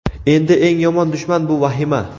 Endi eng yomon dushman bu vahima.